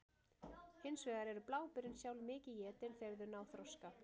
Hins vegar eru bláberin sjálf mikið étin þegar þau ná þroska.